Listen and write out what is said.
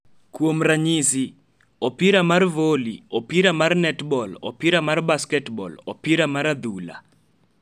Kuom ranyisi, opira mar voli, opira mar netbol, opira mar basketbol, ??opira mar adhula,